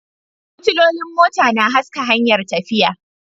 Fitilolin mota na haska hanyar tafiya